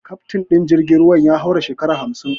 Kaftin din jirgin ruwan ya haura shekara hamsin.